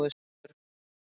Þorbjörg